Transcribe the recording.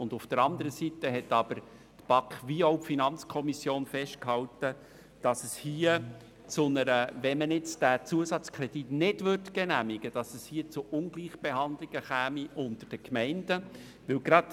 Auf der anderen Seite haben sowohl die BaK als auch die FiKo festgehalten, dass es, würde man den Zusatzkredit nicht genehmigen, zu Ungleichbehandlungen unter den Gemeinden käme.